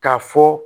K'a fɔ